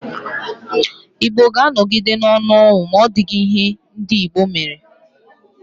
Igbo ga-anogide n'onu ọnwụ ma ọdighi ihe ndi Igbo mere.